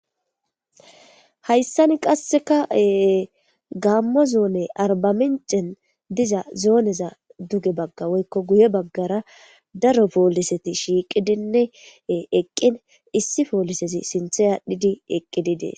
hayssani qassekae gammo zoone arbamincen diza zooneza duge bagga woykko guye baggara daro pooliseti shiiqidinne eqqin issi poolisesi sinthey aadhdhidi eqqididee